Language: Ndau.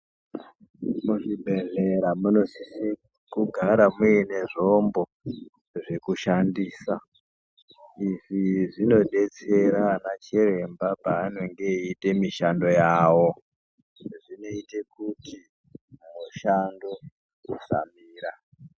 Muzvibhedhlera munosisa kugara muine zvombo zvekushandisa izvi zvinodetsera pachirwmba panenge eita mishando yawo izvi zvinoita kuti mashango kushanmbira.